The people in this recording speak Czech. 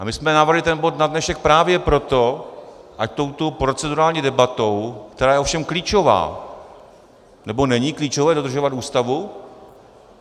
A my jsme navrhli ten bod na dnešek právě proto, ať touto procedurální debatou, která je ovšem klíčová - nebo není klíčové dodržovat Ústavu?